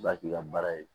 Ba k'i ka baara ye